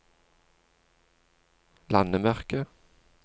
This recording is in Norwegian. landemerke